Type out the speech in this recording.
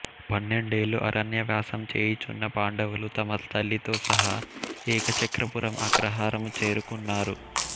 పన్నెండేళ్ళు అరణ్యవాసం చేయుచున్న పాండవులు తమ తల్లితో సహా ఏకచక్రపురం అగ్రహారము చేరుకున్నారు